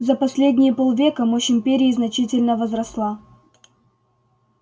за последние полвека мощь империи значительно возросла